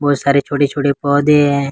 बहुत सारे छोटे छोटे पौधे है।